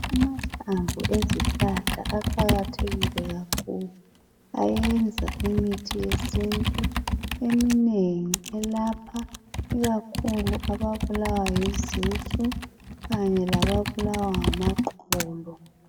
Amahlamvu ezihlahla aqakathekile kakhulu, ayenza imithi yesintu eminengi elapha ikakhulu ababulawa yizisu kanye lababulawa ngamaqolo.